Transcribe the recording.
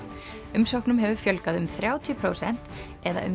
umsóknum hefur fjölgað um þrjátíu prósent eða um